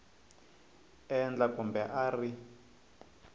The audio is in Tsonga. endla kumbe a a ri